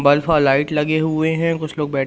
light लगे हुए हैं कुछ लोग बैठ--